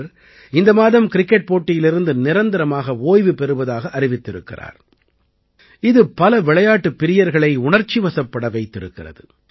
இவர் இந்த மாதம் கிரிக்கெட் போட்டியிலிருந்து நிரந்தரமாக ஓய்வு பெறுவதாக அறிவித்திருக்கிறார் இது பல விளையாட்டுப் பிரியர்களை உணர்ச்சிவயப்படச் செய்திருக்கிறது